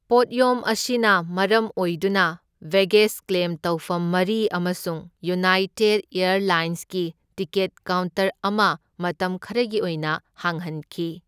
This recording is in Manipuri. ꯄꯣꯠꯌꯣꯝ ꯑꯁꯤꯅ ꯃꯔꯝ ꯑꯣꯏꯗꯨꯅ ꯕꯦꯒꯦꯖ ꯀ꯭ꯂꯦꯝ ꯇꯧꯐꯝ ꯃꯔꯤ ꯑꯃꯁꯨꯡ ꯌꯨꯅꯥꯏꯇꯦꯗ ꯑꯦꯔꯂꯥꯏꯟꯁꯀꯤ ꯇꯤꯀꯦꯠ ꯀꯥꯎꯟꯇꯔ ꯑꯃ ꯃꯇꯝ ꯈꯔꯒꯤ ꯑꯣꯏꯅ ꯍꯥꯡꯍꯟꯈꯤ꯫